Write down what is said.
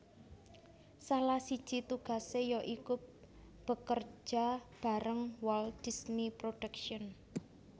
Salah siji tugasé ya iku bekerja bareng Walt Disney Productions